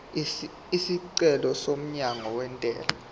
isicelo somyalo wentela